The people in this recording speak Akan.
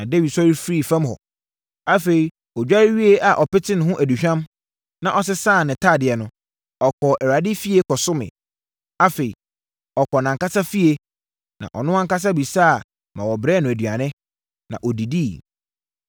Na Dawid sɔre firii fam hɔ. Afei, ɔdware wieeɛ a ɔpetee ne ho aduhwam, na ɔsesaa ne ntadeɛ no, ɔkɔɔ Awurade efie kɔsomee. Afei, ɔkɔɔ nʼankasa efie, na ɔno ankasa bisa ma wɔbrɛɛ no aduane, na ɔdidiiɛ.